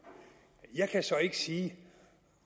jeg kan så ikke sige